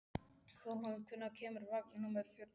Þórhalla, hvenær kemur vagn númer fjörutíu og sex?